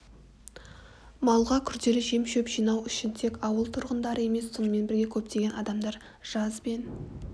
малға күрделі жем-шөп жинау үшін тек ауыл тұрғындары емес сонымен бірге көптеген адамдар жаз бен